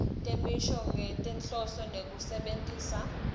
temisho ngekwetinhloso tekusebentisa